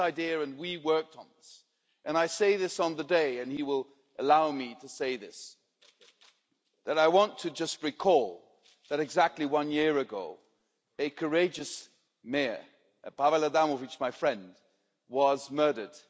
It's his idea and we worked on this, and I say this on the day and he will allow me to say this that I want just to recall that, exactly one year ago, a courageous mayor, Paweł Adamowicz, my friend, was murdered.